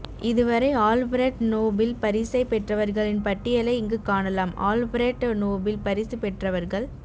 இதுவரை Alfred Nobel பரிசைப் பெற்றவர்களின் பட்டியலை இங்குக் காணலாம் ஆல்ஃபிரட் நோபிள் பரிசு பெற்றவர்கள்